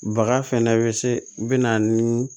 Baga fɛnɛ bɛ se u bɛna ni